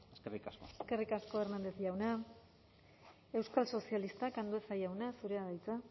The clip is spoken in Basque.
eskerrik asko eskerrik asko hernández jauna euskal sozialistak andueza jauna zurea da hitza